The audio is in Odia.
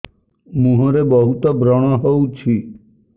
ମୁଁହରେ ବହୁତ ବ୍ରଣ ହଉଛି